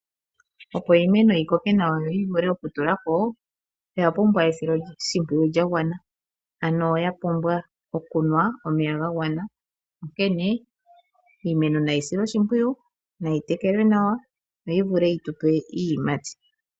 Opo iimeno yikoke nawa noyi vule oku tulako oya pumbwa oya pumbwa esiloshipwiyu lya wana nawa